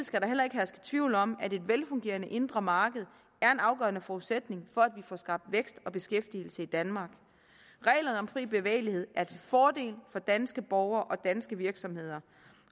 skal der heller ikke herske tvivl om at et velfungerende indre marked er en afgørende forudsætning for at vi får skabt vækst og beskæftigelse i danmark reglerne om den fri bevægelighed er til fordel for danske borgere og danske virksomheder